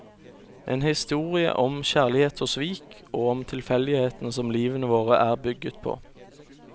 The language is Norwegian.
En historie om kjærlighet og svik, og om tilfeldighetene som livene våre er bygget på.